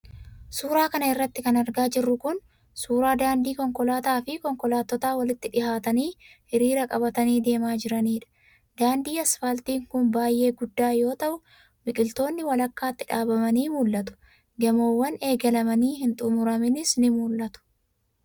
Suura kana irratti kan argaa jirru kun, suura daandii konkolaataa fi konkolaattotta walitti dhihaatanii hiriira qabatanii deemaa jiraniidha. Daandiin asfaaltii kun baay'ee guddaa yoo ta'u, biqiltoonni walakkaatti dhaabbamanii mul'atu. Gamoowwan eegalamanii hin xumuramanis ni mul'atu.